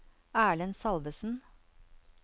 Erlend Salvesen